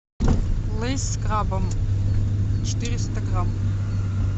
лейс с крабом четыреста грамм